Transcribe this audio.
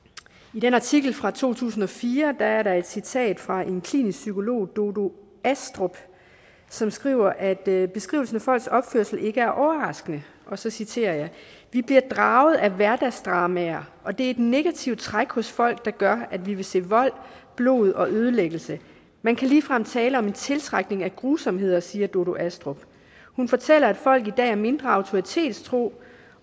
i den artikel fra to tusind og fire er der et citat fra en klinisk psykolog dodo astrup som skriver at at beskrivelsen af folks opførsel ikke er overraskende og så citerer jeg vi bliver draget af hverdagsdramaer og det er et negativt træk hos folk der gør at vi vil se vold blod og ødelæggelse man kan ligefrem tale om en tiltrækning af grusomheder siger dodo astrup hun fortæller at folk i dag er mindre autoritetstro